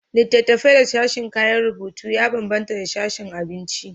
Littattafai da sashin kayan rubutu ya bambanta da sashin abinci.